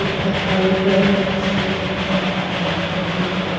एक हैरी पैनी की एक सफ़ेद पैनी की एक लाल पैनी की एक नीलू पैनु।